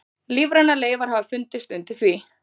Lífrænar leifar hafa fundist undir því.